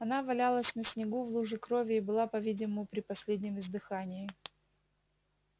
она валялась на снегу в луже крови и была по видимому при последнем издыхании